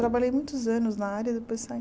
Trabalhei muitos anos na área e depois saí.